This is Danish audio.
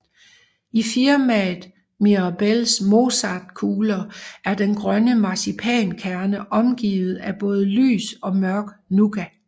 I firmaet Mirabells mozartkugler er den grønne marcipankerne omgivet af både lys og mørk nougat